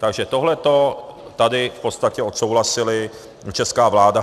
Takže tohleto tady v podstatě odsouhlasila česká vláda.